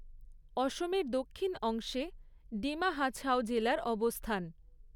অসমের দক্ষিণ অংশে ডিমা হাছাও জেলার অবস্থান।